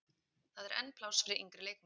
Það er enn pláss fyrir yngri leikmenn.